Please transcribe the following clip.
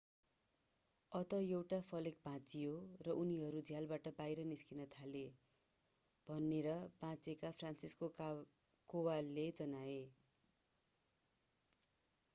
अन्तत एउटा फलेक भाँचियो र उनीहरू झ्यालबाट बाहिर निस्कन थाले भनेर बाँचेका फ्रान्सिसेक कोवालले जनाए